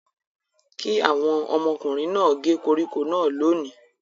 Kí àwọn ọmọkùnrin náà gé koríko náà lónìí!